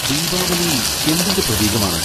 ദീവാലി എന്തിന്റെ പ്രതീകമാണ്?